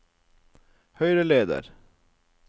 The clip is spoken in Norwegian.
høyreleder